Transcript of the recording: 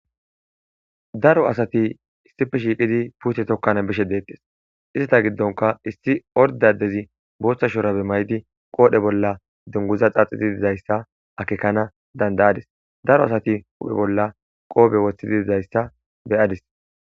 Daro asati issippe shiiqi pute tokan bishe detese eat gidonkka issi orde adezi Botha shurabe mayidi qodhe bolla duguza xaxidi dizaysa akekans danda'adis daro asati huphe bolla qofe wothidi dizaysa be'adis